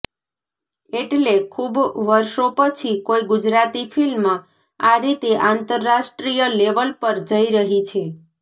એટલે ખૂબ વર્ષો પછી કોઈ ગુજરાતી ફિલ્મ આ રીતે આંતરરાષ્ટ્રીય લેવલ પર જઈ રહી છે